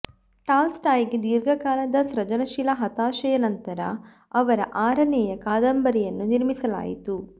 ಟಾಲ್ಸ್ಟಾಯ್ಗೆ ದೀರ್ಘಕಾಲದ ಸೃಜನಶೀಲ ಹತಾಶೆಯ ನಂತರ ಅವರ ಆರನೆಯ ಕಾದಂಬರಿಯನ್ನು ನಿರ್ಮಿಸಲಾಯಿತು